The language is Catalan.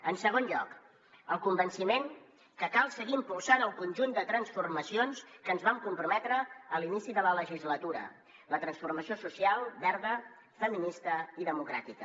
en segon lloc el convenciment que cal seguir impulsant el conjunt de transformacions que ens vam comprometre a l’inici de la legislatura la transformació social verda feminista i democràtica